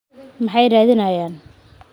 Maxay raadinayaan?